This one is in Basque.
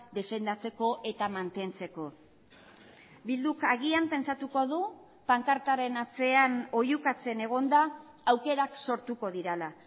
defendatzeko eta mantentzeko bilduk agian pentsatuko du pankartaren atzean oihukatzen egonda aukerak sortuko direla